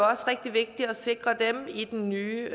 også rigtig vigtigt at sikre dem i den nye